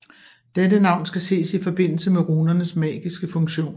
Dette navn skal ses i forbindelse med runernes magiske funktion